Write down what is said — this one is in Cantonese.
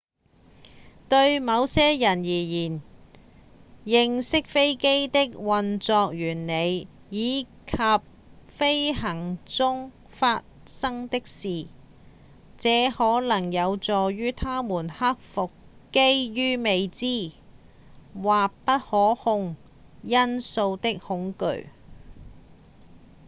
對某些人而言認識飛機的運作原理以及飛行中發生的事這可能有助於他們克服基於未知或不可控因素的恐懼